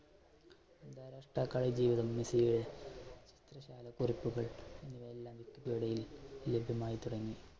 താൽകാലിക ജീവിതം മെസ്സിയെ പരിക്കുകൾ ലഭ്യമായിത്തുടങ്ങി.